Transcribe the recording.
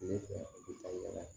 Ne fɛ u bɛ taa yala